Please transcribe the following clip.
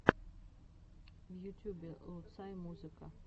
в ютюбе луцай музыка